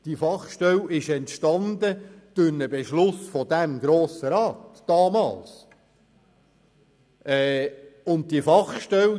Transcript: die Fachstelle war damals durch einen Beschluss dieses Grossen Rats entstanden.